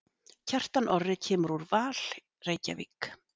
Kjartan Orri kemur úr Val Reykjavík.